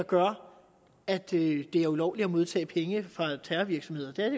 gør at det er ulovligt har modtaget penge fra terrorvirksomhed det er